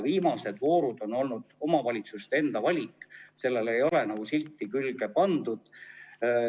Viimased voorud on olnud omavalitsuste enda valik, sinna ei ole n-ö silti külge pandud.